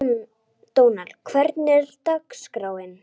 Dónald, hvernig er dagskráin?